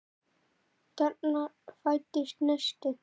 Þarna fæddist neisti.